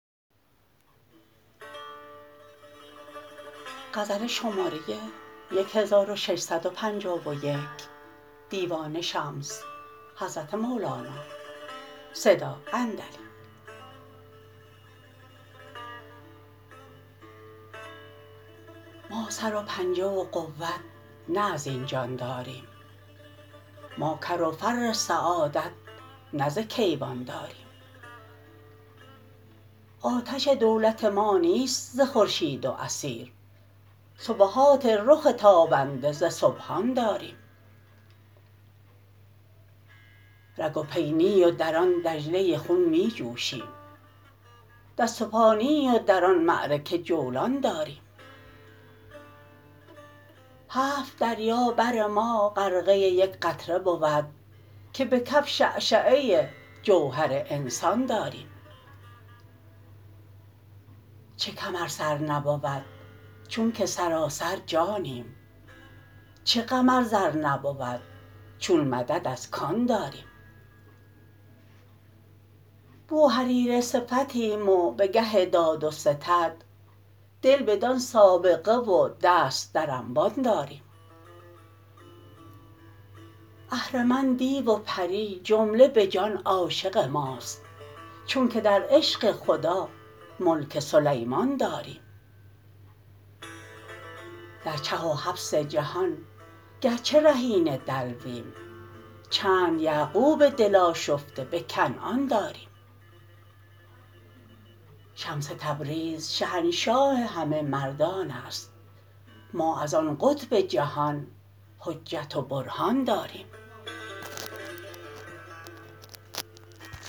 ما سر و پنجه و قوت نه از این جان داریم ما کر و فر سعادت نه ز کیوان داریم آتش دولت ما نیست ز خورشید و اثیر سبحات رخ تابنده ز سبحان داریم رگ و پی نی و در آن دجله خون می جوشیم دست و پا نی و در آن معرکه جولان داریم هفت دریا بر ما غرقه یک قطره بود که به کف شعشعه جوهر انسان داریم چه کم ار سر نبود چونک سراسر جانیم چه غم ار زر نبود چون مدد از کان داریم بوهریره صفتیم و به گه داد و ستد دل بدان سابقه و دست در انبان داریم اهرمن دیو و پری جمله به جان عاشق ماست چونک در عشق خدا ملک سلیمان داریم در چه و حبس جهان گرچه رهین دلویم چند یعقوب دل آشفته به کنعان داریم شمس تبریز شهنشاه همه مردان است ما از آن قطب جهان حجت و برهان داریم